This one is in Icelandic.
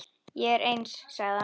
Ég er eins, sagði hann.